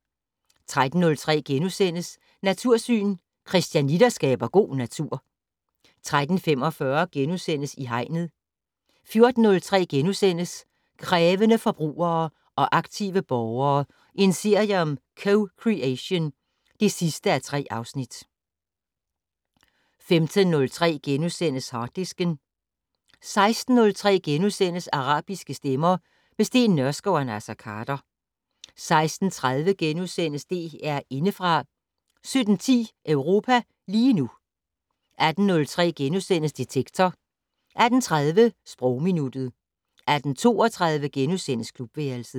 13:03: Natursyn: Christianitter skaber god natur * 13:45: I Hegnet * 14:03: Krævende forbrugere og aktive borgere - en serie om co-creation (3:3)* 15:03: Harddisken * 16:03: Arabiske stemmer - med Steen Nørskov og Naser Khader * 16:30: DR Indefra * 17:10: Europa lige nu 18:03: Detektor * 18:30: Sprogminuttet 18:32: Klubværelset *